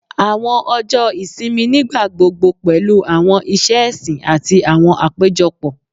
Awọn ọjọ isimi nigbagbogbo pẹlu awọn iṣẹ ẹsin ati awọn apejọpọ